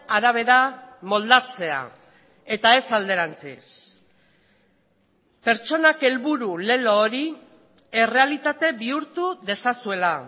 arabera moldatzea eta ez alderantziz pertsonak helburu lelo hori errealitate bihurtu dezazuela